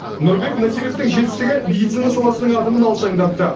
нұрбек надировтің жетістігі медицина саласының адымын алшаңдатты